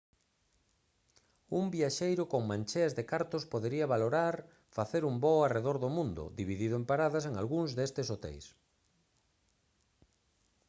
un viaxeiro con mancheas de cartos podería valorar facer un voo arredor do mundo dividido en paradas en algúns destes hoteis